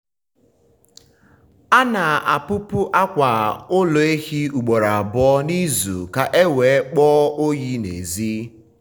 a na-apupu akwa ụlọ ehi ugboro abụọ n’izu ka ha wee kpọọ oyi n’èzí.